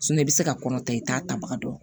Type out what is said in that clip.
i bɛ se ka kɔnɔ ta i t'a tabaga dɔn